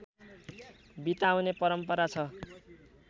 बिताउने परम्परा छ